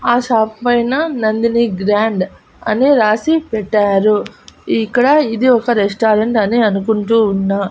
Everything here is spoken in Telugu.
ఆ షాప్ పైన నందిని గ్రాండ్ అని రాసి పెట్టారు ఇక్కడ ఇది ఒక రెస్టారెంట్ అని అనుకుంటూ ఉన్నా.